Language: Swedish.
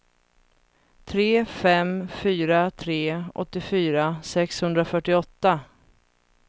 tre fem fyra tre åttiofyra sexhundrafyrtioåtta